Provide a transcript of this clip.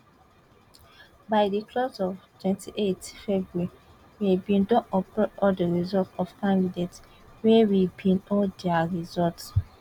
by di close of 28th february we bin don upload all di results of candidates wey we bin hold dia results